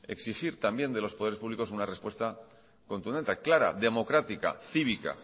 exigir también de los poderes públicos una respuesta contundente clara democrática cívica